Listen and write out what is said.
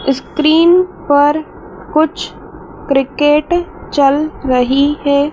Screen पर कुछ cricket चल रही है।